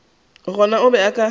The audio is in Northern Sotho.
gona o be a ka